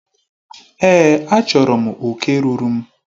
Èé, achọrọ m oke ruuru m.